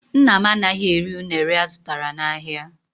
Nna m anaghị eri unere azụtara n'ahịa.